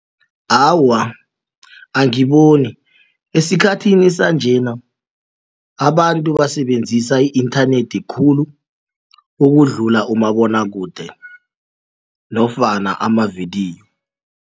Awa, angiboni esikhathini sanjena abantu basebenzisa i-inthanethi khulu ukudlula umabonwakude nofana amavidiyo.